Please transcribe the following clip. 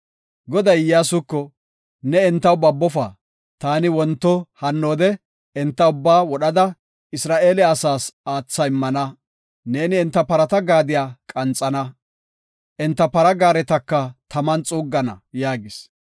Goday Iyyasuko, “Ne entaw babofa; taani wonto hannoode enta ubbaa wodhada Isra7eele asaas aatha immana. Neeni enta parata gaadiya qanxana; enta para gaaretaka taman xuuggana” yaagis.